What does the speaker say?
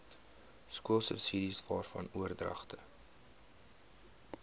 skoolsubsidies waarvan oordragte